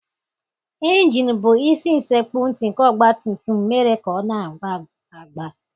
Injinụ bụ isi sekpu ntị nke ọgbatumtum mere ka ọ na-agba agba.